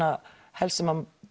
helst sem